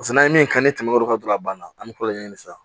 Paseke n'an ye min kan ni tɛmɛn'olu kan dɔrɔn a banna an bɛ tulo ɲɛ sisan